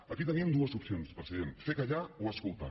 aquí tenim dues opcions president fer callar o escoltar